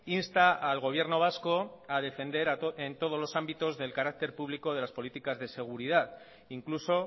insta al gobierno vasco a defender en todos los ámbitos el carácter público de las políticas de seguridad incluso